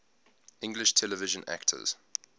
english television actors